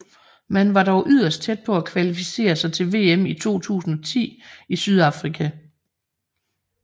Man var dog yderst tæt på at kvalificere sig til VM i 2010 i Sydafrika